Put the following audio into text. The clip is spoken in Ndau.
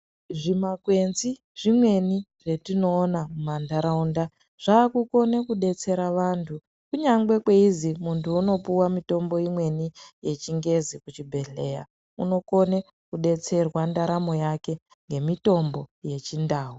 Zvimakwenzi zvimweni zvatinoona mundaraunda zvaakukone kudetsera vantu kunyangwe kweizi muntu unopuwa mutombo imweni yechingezi kuchibhedhlera unokone kudetserwa ndaramo yake ngemitombo yechindau.